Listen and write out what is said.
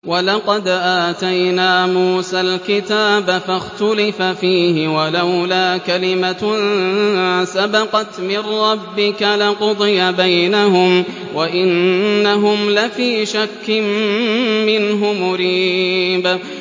وَلَقَدْ آتَيْنَا مُوسَى الْكِتَابَ فَاخْتُلِفَ فِيهِ ۚ وَلَوْلَا كَلِمَةٌ سَبَقَتْ مِن رَّبِّكَ لَقُضِيَ بَيْنَهُمْ ۚ وَإِنَّهُمْ لَفِي شَكٍّ مِّنْهُ مُرِيبٍ